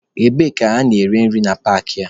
Ebee ka a na-ere nri na paakị a?